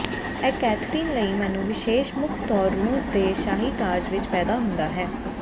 ਇਹ ਕੈਥਰੀਨ ਲਈ ਮੈਨੂੰ ਵਿਸ਼ੇਸ਼ ਮੁੱਖ ਤੌਰ ਰੂਸ ਦੇ ਸ਼ਾਹੀ ਤਾਜ ਵਿਚ ਪੈਦਾ ਹੁੰਦਾ ਹੈ